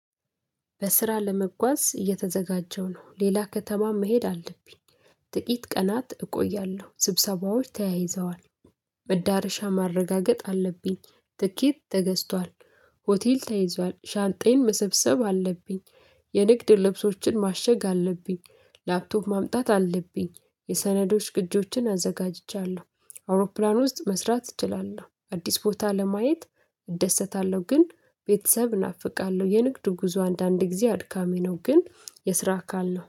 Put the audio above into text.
በስራ ለመጓዝ እየተዘጋጀሁ ነው ሌላ ከተማ መሄድ አለብኝ ጥቂት ቀናት እቆያለሁ ስብሰባዎች ተያይዘዋል። መዳረሻ ማረጋገጥ አለብኝ ትኬት ተገዝቷል። ሆቴል ተይዟል ሻንጤን መሰብሰብ አለብኝ የንግድ ልብሶችን ማሸግ አለብኝ ላፕቶፕ ማምጣት አለብኝ የሰነዶች ቅጅዎችን አዘጋጅቻለሁ። አውሮፕላን ውስጥ መስራት እችላለሁ አዲስ ቦታ ለማየት እደሰታለሁ። ግን ቤተሰብ ናፍቃለሁ የንግዱ ጉዞ አንዳንድ ጊዜ አድካሚ ነው። ግን የስራ አካል ነው